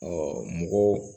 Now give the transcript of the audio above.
mɔgɔw